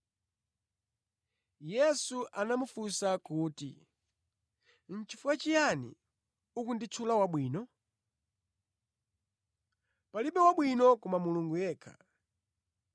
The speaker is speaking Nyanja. Yesu anamufunsa kuti, “Nʼchifukwa chiyani ukunditchula wabwino? Palibe wabwino koma Mulungu yekha.